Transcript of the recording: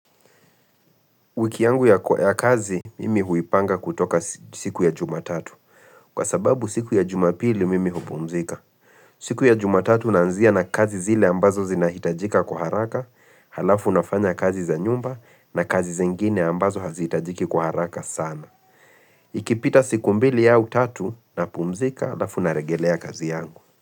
Wiki yangu ya kazi, mimi huipanga kutoka si siku ya jumatatu. Kwa sababu siku ya jumapili, mimi hupumzika. Siku ya jumatatu nanzia na kazi zile ambazo zinahitajika kwa haraka, halafu nafanya kazi za nyumba na kazi zengine ambazo hazitajiki kwa haraka sana. Ikipita siku mbili au tatu napumzika, hlalafu nalegelea kazi yangu.